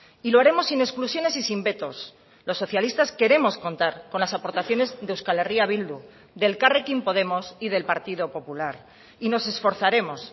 y lo haremos sin exclusiones y sin vetos los socialistas queremos contar con las aportaciones de euskal herria bildu de elkarrekin podemos y del partido popular y nos esforzaremos